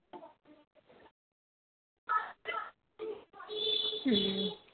ਹੂ